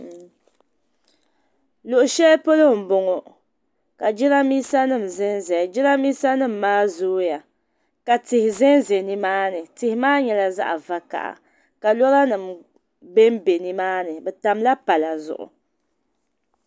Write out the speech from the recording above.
Luɣu shɛli polo m bɔŋɔ ka jɛranbisa nim zan zaya jɛranbisa nim maa zooya ka tihi zan za nimaa ni tihi maa nyɛla zaɣi vokaha ka lɔra nim ben bɛ nimaa ni bɛ tamla palli zuɣu.